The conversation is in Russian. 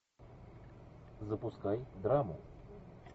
запускай драму